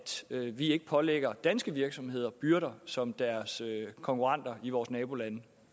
vi ikke pålægger danske virksomheder byrder som deres konkurrenter i vores nabolande